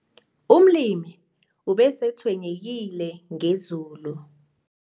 Umlimi ubetshwenyekile ngezulu.